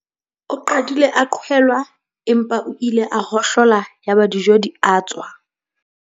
o qadile a qhwelwa empa o ile a hohlola yaba dijo di a tswa